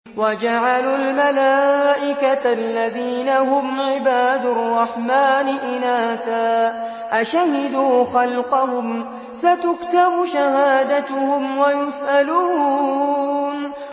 وَجَعَلُوا الْمَلَائِكَةَ الَّذِينَ هُمْ عِبَادُ الرَّحْمَٰنِ إِنَاثًا ۚ أَشَهِدُوا خَلْقَهُمْ ۚ سَتُكْتَبُ شَهَادَتُهُمْ وَيُسْأَلُونَ